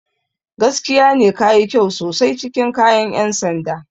Gaskiya ne, ka yi kyau sosai cikin kayan 'yan sanda.